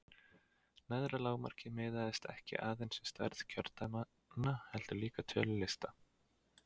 neðra lágmarkið miðast ekki aðeins við stærð kjördæmanna heldur líka tölu lista